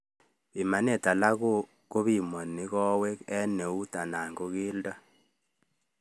Pimanet alak kopimanu kawek eng keut anan keldo